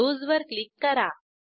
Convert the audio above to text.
close वर click करा